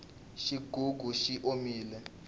xigugu xi omile